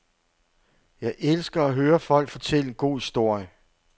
Jeg elsker at høre folk fortælle en god historie.